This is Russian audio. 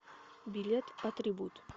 билет атрибут